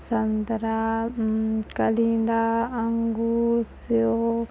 संत्रा मंम कलिंगा अंगूर सेव--